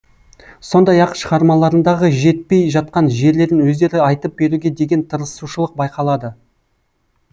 сондай ақ шығармаларындағы жетпей жатқан жерлерін өздері айтып беруге деген тырысушылық байқалады